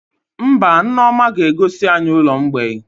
Mba, Nneoma ga-egosi anyị ụlọ mgbei